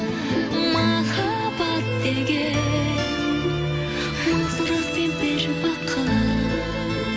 махаббат деген мың сұрақ пен бір бақыт